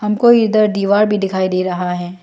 हमको इधर दीवार भी दिखाई दे रहा है।